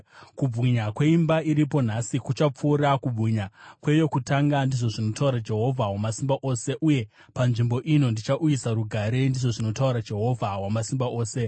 ‘Kubwinya kweimba iripo nhasi kuchapfuura kubwinya kweyokutanga,’ ndizvo zvinotaura Jehovha Wamasimba Ose. ‘Uye panzvimbo ino ndichauyisa rugare,’ ndizvo zvinotaura Jehovha Wamasimba Ose.”